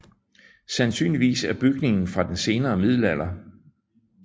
Sandsynligvis er bygningen fra den senere middelalder